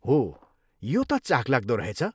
हो, यो त चाखलाग्दो रहेछ!